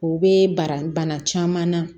O bɛ bara bana caman na